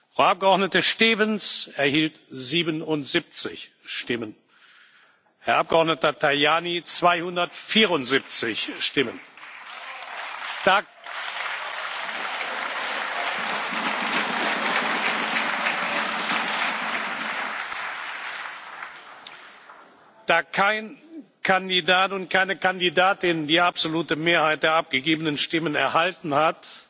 Frau Abgeordnete Stevens 77 Stimmen, Herrn Abgeordneten Tajani 274 Stimmen. Da kein Kandidat und keine Kandidatin die absolute Mehrheit der abgegebenen Stimmen erhalten hat,